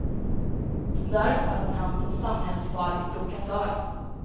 Där uppfattas han som samhällsfarlig provokatör.